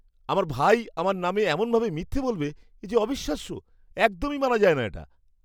আমার ভাই আমার নামে এমনভাবে মিথ্যে বলবে, এ যে অবিশ্বাস্য। একদমই মানা যায় না এটা।